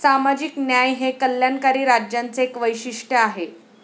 सामाजिक न्याय हे कल्याणकारी राज्यांचे एक वैशिष्ट्य आहे.